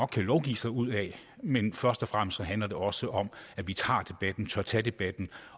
kan lovgive sig ud af men først og fremmest handler det også om at vi tager debatten tør tage debatten